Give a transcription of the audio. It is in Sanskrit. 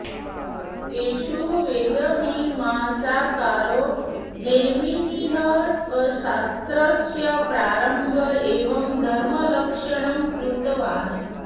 तेषु वेदमीमांसाकारो जैमिनिः स्वशास्त्रस्य प्रारम्भ एव धर्मलक्षणं कृतवान्